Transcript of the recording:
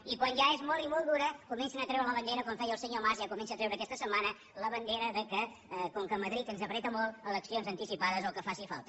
i quan ja és molt i molt dura comencen a treure la bandera com feia el senyor mas que ja comença a treure la aquesta setmana la bandera que com que madrid ens apreta molt eleccions anticipades o el que faci falta